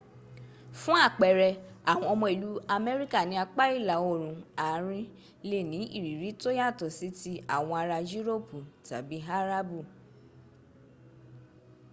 fun apere awon omo ilu amerika ni apa ila orun arin le ni iriri to yato si ti awon ara yuropi tabi arabu